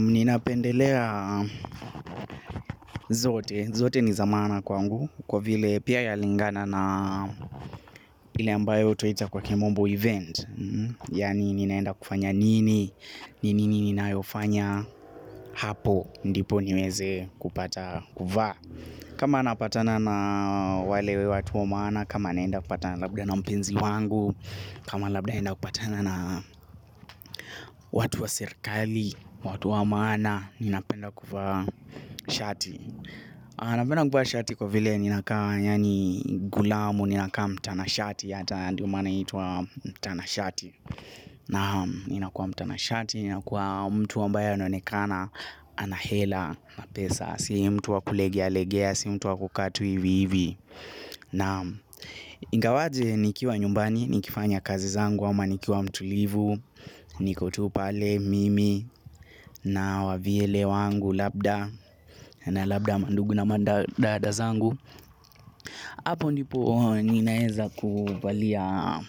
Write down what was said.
Ninapendelea zote, zote ni za maana kwangu. Kwa vile pia yalingana na ile ambayo twaita kwa kimombo event. Yaani ninaenda kufanya nini, nini ninayofanya hapo. Ndipo niweze kupata kuvaa. Kama napatana na wale watu wa maana. Kama naenda kupatana labda na mpenzi wangu. Kama labda naenda kupatana na watu wa serikali, watu wa maana. Ninapenda kuvaa shati napenda kuvaa shati kwa vile ninakaa yaani gulamu. Ninakaa mtana shati hata ndio maana inaitwa mtana shati. Naam. Ninakua mtana shati. Ninakua mtu ambaye anaonekana. Anahela na mapesa. Si mtu wakulegea legea. Si mtu wakukaa tu hivi hivi. Naam. Ingawaje nikiwa nyumbani nikifanya kazi zangu ama nikiwa mtulivu. Niko tu pale mimi. Na wavyele wangu labda. Na labda mandugu na madada zangu. Apo ndipo ninaeza kuvalia